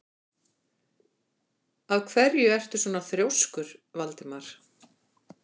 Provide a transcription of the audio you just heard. Af hverju ertu svona þrjóskur, Valdimar?